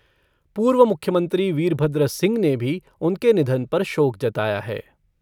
पूर्व मुख्यमंत्री वीरभद्र सिंह ने भी उनके निधन पर शोक जताया है।